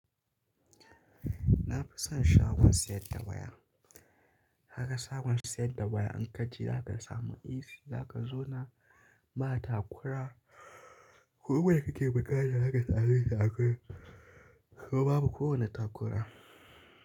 Na fi son shagon siyar da waya. Ka ga shagon siyad da waya in ka je za ka samu easy, za ka zauna ba takura. Duk da yake bakana haka, za su yi akwai kuma babu kowane takura.